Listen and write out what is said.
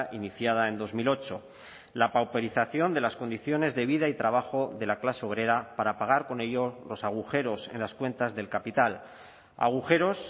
iniciada en dos mil ocho la pauperización de las condiciones de vida y trabajo de la clase obrera para pagar con ello los agujeros en las cuentas del capital agujeros